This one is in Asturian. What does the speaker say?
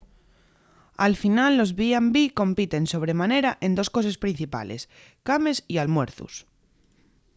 al final los b&b compiten sobre manera en dos coses principales cames y almuerzos